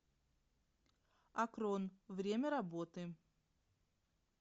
акрон время работы